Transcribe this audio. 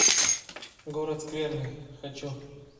город скверны хочу